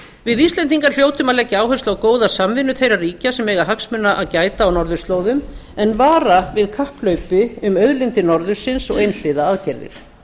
við íslendingar hljótum að leggja áherslu á góða samvinnu þeirra ríkja sem eiga hagsmuna að gæta á norðurslóðum en vara við kapphlaupi um auðlindir norðursins og einhliða aðgerðir